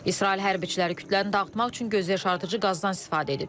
İsrail hərbçiləri kütləni dağıtmaq üçün gözyaşardıcı qazdan istifadə edib.